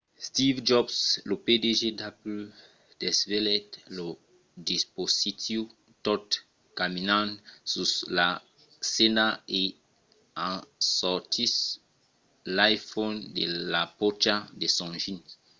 steve jobs lo pdg d’apple desvelèt lo dispositiu tot caminant sus la scèna e en sortissent l'iphone de la pòcha de son jeans